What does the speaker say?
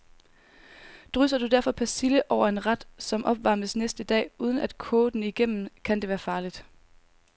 Drysser du derfor persille over en ret, som opvarmes næste dag, uden at koge den igennem, kan det være farligt.